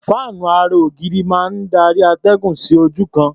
Fáànú ara-ògiri máa ń darí atẹ́gùn sí ojú kan.